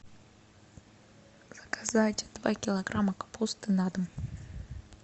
заказать два килограмма капусты на дом